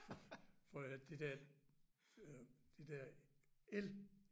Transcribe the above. For at det der øh det der el!